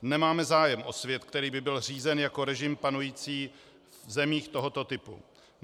Nemáme zájem o svět, který by byl řízen jako režim panující v zemích tohoto typu.